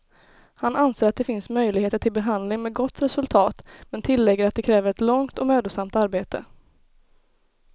Han anser att det finns möjligheter till behandling med gott resultat, men tillägger att det kräver ett långt och mödosamt arbete.